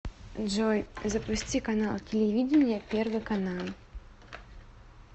джой запусти канал телевидения первый канал